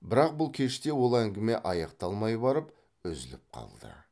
бірақ бұл кеште ол әңгіме аяқталмай барып үзіліп қалды